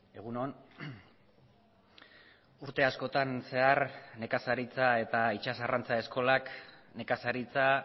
egun on urte askotan zehar nekazaritza eta itsas arrantza eskolak nekazaritza